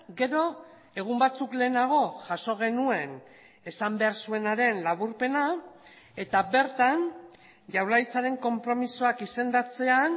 gero egun batzuk lehenago jaso genuen esan behar zuenaren laburpena eta bertan jaurlaritzaren konpromisoak izendatzean